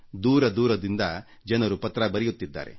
ದೂರ ದೂರದಿಂದ ಜನರು ಪತ್ರ ಬರೆಯುತ್ತಿದ್ದಾರೆ